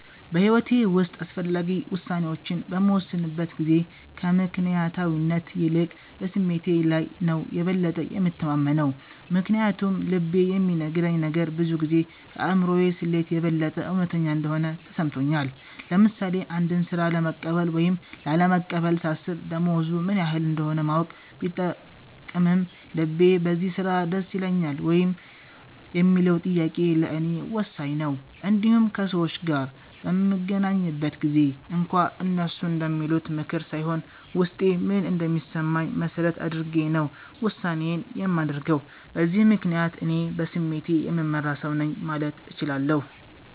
በሕይወቴ ውስጥ አስፈላጊ ውሳኔዎችን በምወስንበት ጊዜ ከምክንያታዊነት ይልቅ በስሜቴ ላይ ነው የበለጠ የምተማመነው። ምክንያቱም ልቤ የሚነግረኝ ነገር ብዙ ጊዜ ከአእምሮ ስሌት የበለጠ እውነተኛ እንደሆነ ተሰምቶኛል። ለምሳሌ አንድን ሥራ ለመቀበል ወይም ላለመቀበል ሳስብ፣ ደሞዙ ምን ያህል እንደሆነ ማወቅ ቢጠቅምም፣ ልቤ በዚያ ሥራ ደስ ይለኛል ወይ የሚለው ጥያቄ ለእኔ ወሳኝ ነው። እንዲሁም ከሰዎች ጋር በምገናኝበት ጊዜም እንኳ፣ እነሱ እንደሚሉት ምክር ሳይሆን ውስጤ ምን እንደሚሰማኝ መሠረት አድርጌ ነው ውሳኔዬን የማደርገው። በዚህ ምክንያት፣ እኔ በስሜቴ የምመራ ሰው ነኝ ማለት እችላለሁ።